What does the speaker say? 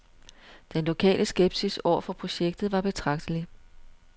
Den lokale skepsis over for projektet var betragtelig.